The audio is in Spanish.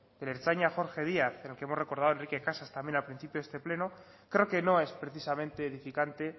el ertzaina jorge díaz en el que hemos recordado a enrique casas también al principio de este pleno creo que no es precisamente edificante